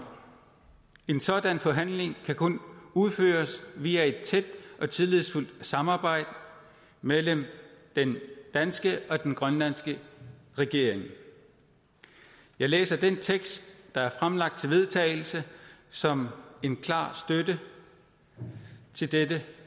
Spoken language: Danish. en sådan forhandling kan kun udføres via et tæt og tillidsfuldt samarbejde mellem den danske og den grønlandske regering jeg læser den tekst der er fremlagt til vedtagelse som en klar støtte til dette